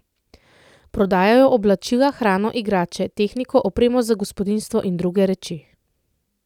Prodajajo oblačila, hrano, igrače, tehniko, opremo za gospodinjstvo in druge reči.